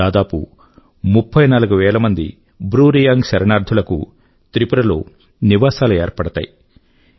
దాదాపు 34000 బ్రూ రియాంగ్ శరణార్థుల కు త్రిపుర లో నివాసాలు ఏర్పడతాయి